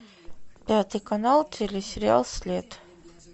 пятый канал телесериал след